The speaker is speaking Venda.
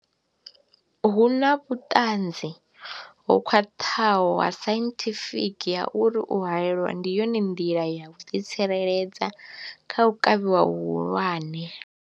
Hu na vhuṱanzi ho khwaṱhaho ha sainthifiki ha uri u haelwa ndi yone nḓila ya u ḓitsireledza kha u kavhiwa hu hulwane.